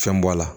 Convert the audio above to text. Fɛn bɔ a la